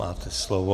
Máte slovo.